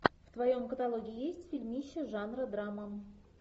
в твоем каталоге есть фильмище жанра драма